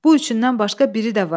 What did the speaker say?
Bu üçündən başqa biri də var.